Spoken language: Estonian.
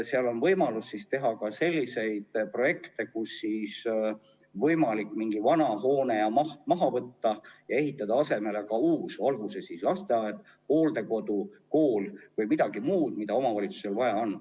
Seal on võimalus teha ka selliseid projekte, kus saab näiteks mingi vana hoone maha võtta ja ehitada asemele uue, olgu see lasteaed, hooldekodu, kool või midagi muud, mida omavalitsusel vaja on.